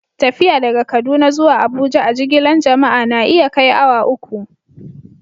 Tafiya daga Kaduna zuwa Abuja a'jigilan jama'a na iya kai awa uku.